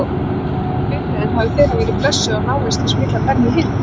Þau segja mér að bifreiðin hafi þegar verið blessuð af návist hins mikla Benny Hinn.